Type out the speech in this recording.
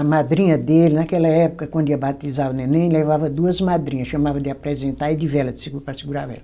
A madrinha dele, naquela época, quando ia batizar o neném, levava duas madrinha, chamava de apresentar e de vela, de segu, para segurar a vela.